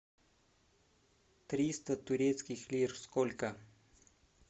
триста турецких лир сколько